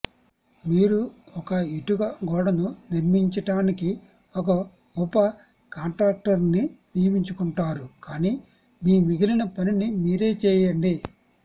మీరు ఒక ఇటుక గోడను నిర్మించటానికి ఒక ఉప కాంట్రాక్టర్ని నియమించుకుంటారు కాని మీ మిగిలిన పనిని మీరే చేయండి